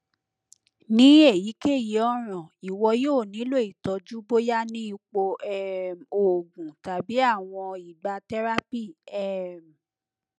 ni eyikeyi ọran iwọ yoo nilo itọju boya ni ipo um oogun tabi awọn igba therapy um